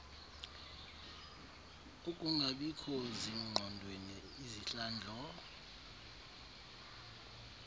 ukungabikho zingqondweni izihlandlo